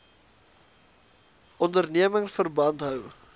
onderneming verband hou